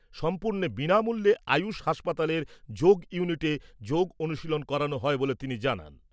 সম্পূর্ণ বিনামূল্যে আয়ুষ হাসপাতালের যোগ ইউনিটে যোগ অনুশীলন করানো হয় বলে তিনি জানান ।